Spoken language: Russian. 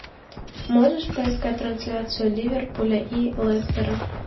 можешь поискать трансляцию ливерпуля и лестера